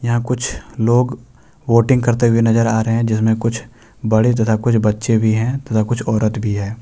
यहां कुछ लोग बोटिंग करते हुए नजर आ रहे हैं जिसमें कुछ बड़े तथा कुछ बच्चे भी है तथा कुछ औरत भी है।